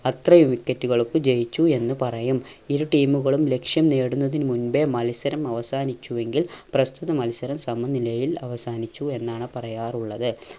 അത്രയും wicket കൾക്ക് ജയിച്ചു എന്ന് പറയും. ഇരു team കളും ലക്ഷ്യം നേടുന്നതിന് മുമ്പേ മത്സരം അവസാനിച്ചു എങ്കിൽ പ്രസ്തുത മത്സരം സമനിലയിൽ അവസാനിച്ചു എന്നാണ് പറയാറുള്ളത്.